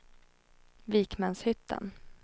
Vikmanshyttan